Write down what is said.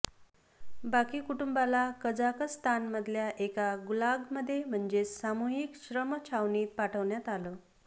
बाकी कुटुंबाला कझाकस्तानमधल्या एका गुलागमध्ये म्हणजेच सामूहिक श्रमछावणीत पाठवण्यात आलं